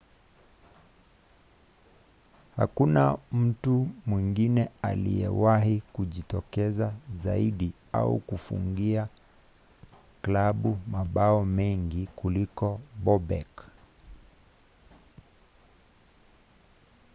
hakuna mtu mwingine aliyewahi kujitokeza zaidi au kufungia klabu mabao mengi kuliko bobek